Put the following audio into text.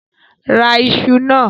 Ra iṣu náà!